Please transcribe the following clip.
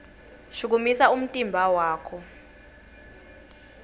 shukumisa umtimba wakho